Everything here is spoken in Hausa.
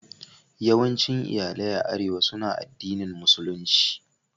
Yawancin iyalai a Arewa suna addinin Musulunci.